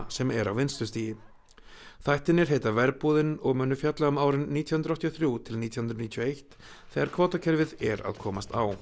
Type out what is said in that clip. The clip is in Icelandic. sem er á vinnslustigi þættirnir heita og munu fjalla um árin nítján hundruð áttatíu og þrjú til nítján hundruð níutíu og eitt þegar kvótakerfið er að komast á